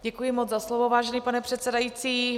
Děkuji moc za slovo, vážený pane předsedající.